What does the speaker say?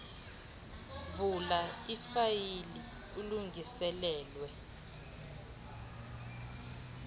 vula ifayile elungiselelwe